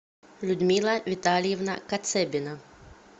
людмила витальевна кацебина